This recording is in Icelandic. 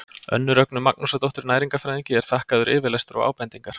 Önnu Rögnu Magnúsardóttur næringarfræðingi er þakkaður yfirlestur og ábendingar.